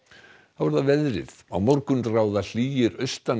þá að veðri á morgun ráð hlýir